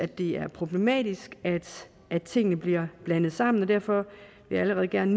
det er problematisk at tingene bliver blandet sammen og derfor vil jeg gerne